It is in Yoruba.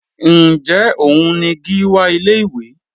Njẹ́ òun ni Gíwá ilé ìwé?